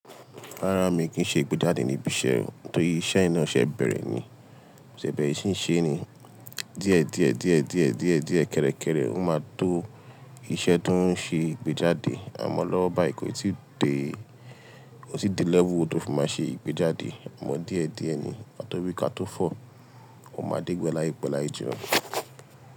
Rárá mi kì í ṣe ìgbéjáde níbi iṣẹ́ o, tórí iṣẹ́yì ná ṣẹ́ bẹ̀rẹ̀ ni, mo ṣẹ̀ bẹ̀ẹre ṣí ń ṣe ni díẹ̀ díẹ̀ díẹ̀ díẹ̀ díẹ̀ díẹ̀ kẹ́rẹ́kẹ́rẹ́ ó máa tó iṣẹ́ tó ń ṣe ìgbéjáde. Àmọ́ lọ́wọ́ báyì kò tí dé, kò tí dé level tó fi máa ṣe ìgbéjáde. Àmọ́ díẹ̀ díẹ̀ ni, kàtọ́ wí kátó fọ̀ máa dé gbẹ láìpẹ́ lái jìnnà.